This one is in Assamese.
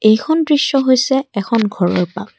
এইখন দৃশ্য হৈছে এখন ঘৰৰ পাগ।